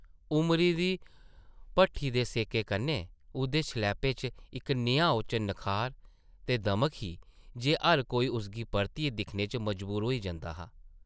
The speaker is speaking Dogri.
उमरी दी भट्ठी दे सेकै कन्नै उसदे शलैपै च इक नेहा ओचन नखार ते दमक ही जे हर कोई उसगी परतियै दिक्खने पर मजबूर होई जंदा हा ।